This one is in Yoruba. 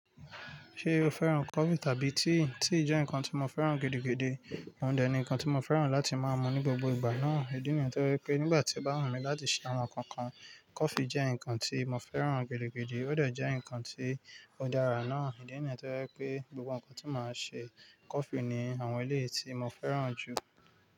Ṣé o fẹ́ràn coffee tàbí tea? Tea jẹ́ nǹkan tí mo fẹ́ràn gidigidi, òun dẹ̀ nǹkan tí mo fẹ́ràn láti máa mu ní gbogbo ìgbà náà. Ìdí nìyẹn tó rẹ pé nígbà tí ó bá wù mí láti ṣàwon kan kan, coffee jẹ́ nǹkan tí mo fẹ́ràn gidigidi, ó dẹ̀ jẹ́ nǹkan tí ó dára náà. Ìdí nìyẹn tó rẹ pé gbogbo nǹkan tí màá ṣe coffee ní àwọn éléyí tí mo fẹ́ràn jù.